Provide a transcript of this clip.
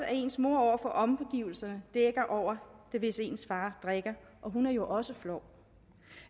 at ens mor over for omgivelserne dækker over det hvis ens far drikker og hun er jo også flov